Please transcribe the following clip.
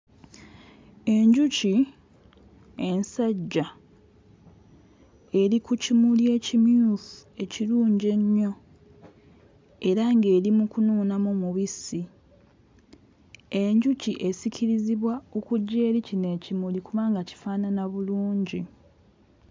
Enjuki ensajja eri ku kimuli ekimyufu ekirungi ennyo era ng'eri mu kunuunamu mubisi enjuki esikirizibwa okujja eri kino ekimuli kubanga kifaanana bulungi.